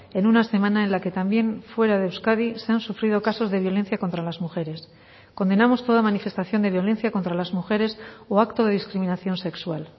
en una semana en la que también fuera de euskadi se han sufrido casos de violencia contra las mujeres condenamos toda manifestación de violencia contra las mujeres o acto de discriminación sexual